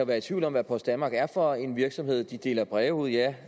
være i tvivl om hvad post danmark er for en virksomhed de deler breve ud ja